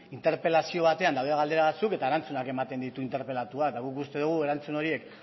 interpelazio batean daude galdera batzuk eta erantzunak ematen ditu interpelatuak eta guk uste dugu erantzun horiek